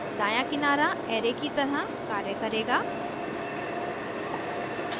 दायां किनारा array की तरह कार्य करेगा